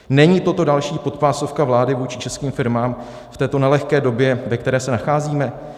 Není toto další podpásovka vlády vůči českým firmám v této nelehké době, ve které se nacházíme?